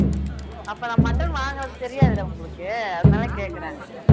அப்ப நான் mutton வாங்கினது தெரியாது இல்ல உங்களுக்கு அதனால கேட்கிறேன்